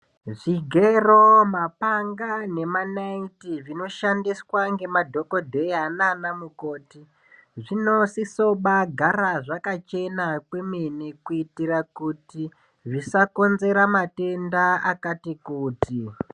Zvigero, mapanga nemanayiti zvinoshandiswa ngemadhokodheya nanamukoti zvinosiso kubagara zvakachena kwemene kuitira kuti zvisakonzera matenda akati kuti.